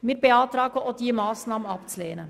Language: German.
Wir beantragen, auch diese Massnahme abzulehnen.